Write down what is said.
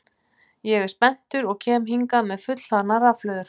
Ég er spenntur og kem hingað með fullhlaðnar rafhlöður.